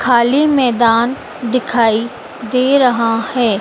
खाली मैदान दिखाई दे रहा है।